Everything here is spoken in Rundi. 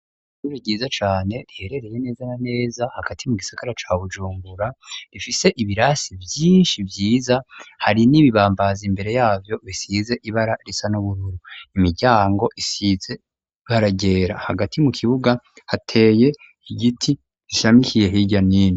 Ishuri ryiza cane riherereye neza na neza hagati mu gisagara ca Bujumbura rifise ibirasi vyishi vyiza hari n'ibibambazi imbere yavyo bisize ibara risa n'ubururu imiryango isize ibara ryera hagati mu kibuga hateye igiti gishamikiye hirya nino.